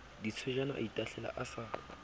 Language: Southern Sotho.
ditswejane a itahlela a sa